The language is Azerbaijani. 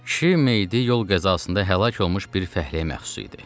Kişi meyidi yol qəzasında həlak olmuş bir fəhləyə məxsus idi.